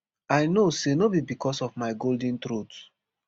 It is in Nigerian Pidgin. i know say no be becos of my golden throat